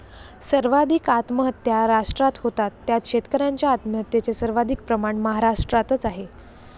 सर्वाधिक आत्महत्या राष्ट्रात होतात त्यात शेतकऱ्यांच्या आत्महत्येचे सर्वाधिक प्रमाण महाराष्ट्रातच आहे.